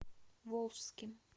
волжским